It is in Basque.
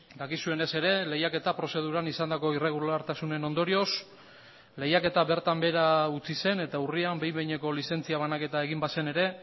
dakizuenez ere lehiaketa prozeduran izandako irregulartasunen ondorioz lehiaketa bertan behera utzi zen eta urrian behin behineko lizentzia banaketa egin bazen ere